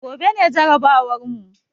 Gobe ne jarabawar mu